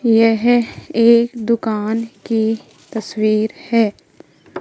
यह एक दुकान की तस्वीर है।